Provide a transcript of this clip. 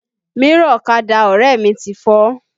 Mírọ̀ ọ̀kadà ọrẹ mi ti fọ́